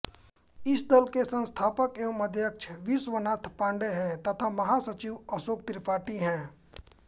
इस दल के संस्थापक एवं अध्यक्ष विश्वनाथ पाण्डेय हैं तथा महासचिव अशोक त्रिपाठी हैं